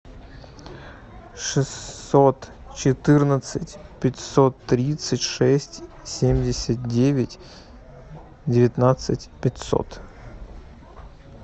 шестьсот четырнадцать пятьсот тридцать шесть семьдесят девять девятнадцать пятьсот